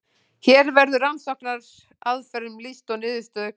hér verður rannsóknaraðferðum lýst og niðurstöður kynntar